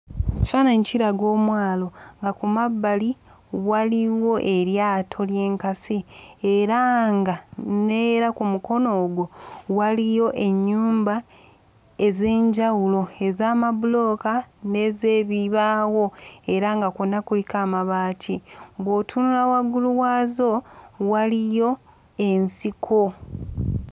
Ekifaananyi kiraga omwalo nga ku mabbali waliwo eryato ly'enkasi era nga n'era ku mukono ogwo waliyo ennyumba ez'enjawulo ez'amabulooka n'ez'ebibaawo era nga kwonna kuliko amabaati. Bw'otunula waggulu waazo waliyo ensiko.